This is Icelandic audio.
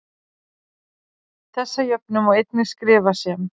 þessa jöfnu má einnig skrifa sem